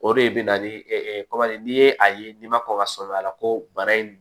O de bɛ na ni kɔman ye n'i ye a ye n'i ma kɔn ka sɔmi a la ko bana in